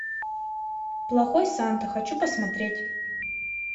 плохой санта хочу посмотреть